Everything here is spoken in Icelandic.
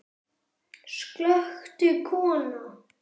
Slökktu kona.